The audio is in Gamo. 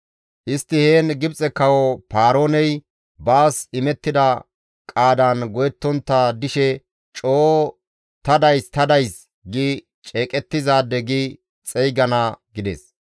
Istti heen, ‹Gibxe kawo Paarooney baas imettida qaadan go7ettontta dishe coo ta days ta days gi ceeqettizaade gi xeygana› gides.